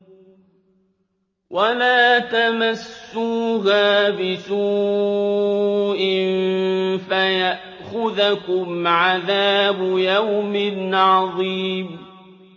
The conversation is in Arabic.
وَلَا تَمَسُّوهَا بِسُوءٍ فَيَأْخُذَكُمْ عَذَابُ يَوْمٍ عَظِيمٍ